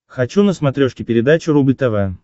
хочу на смотрешке передачу рубль тв